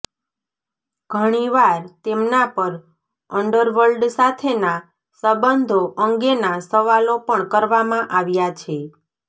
ઘણીવાર તેમના પર અંડરવર્લ્ડ સાથેના સંબંધો અંગેના સવાલો પણ કરવામાં આવ્યા છે